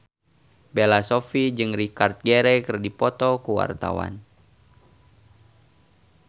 Bella Shofie jeung Richard Gere keur dipoto ku wartawan